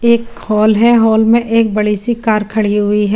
एक हॉल है हॉल में एक बड़ी सी कार खड़ी हुइ है।